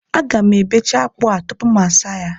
Aga m ebecha akpụ a tupu m asaa ya